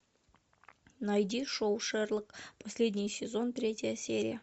найди шоу шерлок последний сезон третья серия